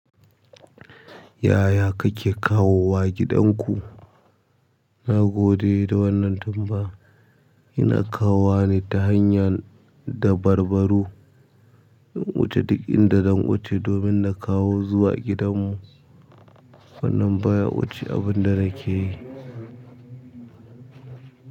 Yaya kake kawo wa gidan ku? Na gode da wannan tambaya. Ina kawo wa ne ta hanya dabarbaru ina wuce duk inda zan wuce domin na kawo zuwa gidanmu. Wannan baya wuce abin da nake yi.